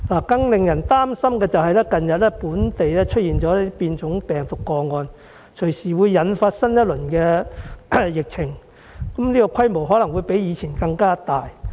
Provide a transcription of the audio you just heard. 更令人擔心的是，本地近日出現變種病毒個案，隨時引發新一輪疫情，規模可能比以前更大。